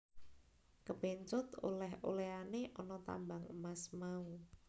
Kapencut oleh olehane ana tambang emas mau